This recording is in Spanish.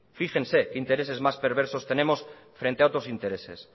fíjense qué intereses más perversos tenemos frente a otros intereses